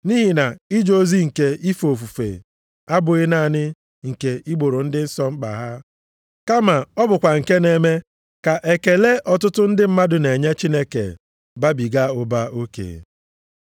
Nʼihi na ije ozi nke ife ofufe a abụghị naanị nke igboro ndị nsọ mkpa ha, kama ọ bụkwa nke na-eme ka ekele ọtụtụ ndị mmadụ na-enye Chineke babiga ụba oke.